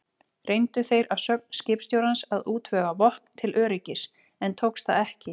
Reyndu þeir að sögn skipstjórans að útvega vopn til öryggis, en tókst það ekki.